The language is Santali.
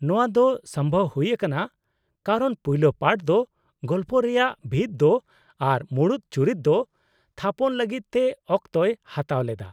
ᱱᱚᱶᱟ ᱫᱚ ᱥᱚᱢᱵᱷᱚᱵ ᱦᱩᱭ ᱟᱠᱟᱱᱟ ᱠᱟᱨᱚᱱ ᱯᱳᱭᱞᱳ ᱯᱟᱨᱴ ᱫᱚ ᱜᱚᱞᱯᱚ ᱨᱮᱭᱟᱜ ᱵᱷᱤᱛ ᱫᱚ ᱟᱨ ᱢᱩᱬᱩᱫ ᱪᱩᱨᱤᱛ ᱫᱚ ᱛᱷᱟᱯᱚᱱ ᱞᱟᱹᱜᱤᱫ ᱛᱮ ᱚᱠᱛᱚᱭ ᱦᱟᱛᱟᱣ ᱞᱮᱫᱟ ᱾